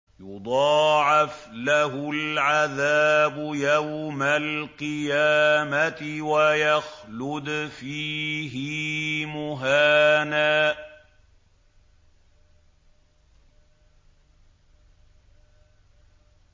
يُضَاعَفْ لَهُ الْعَذَابُ يَوْمَ الْقِيَامَةِ وَيَخْلُدْ فِيهِ مُهَانًا